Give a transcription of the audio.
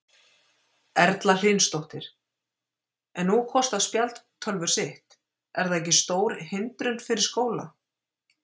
Erla Hlynsdóttir: En nú kosta spjaldtölvur sitt, er það ekki stór hindrun fyrir skóla?